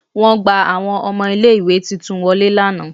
Won gba Awọn ọmọ ile-iwe titun wọle lana